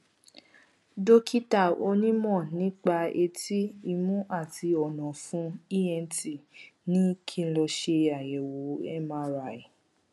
dókítà onímọ nípa etí imú àti ọnàọfun ent ní kí n lọ ṣe àyẹwò mri